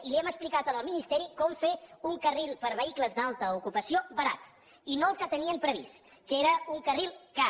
i li hem explicat al ministeri com fer un carril per a vehicles d’alta ocupació barat i no el que tenien previst que era un carril car